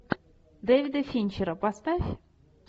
дэвида финчера поставь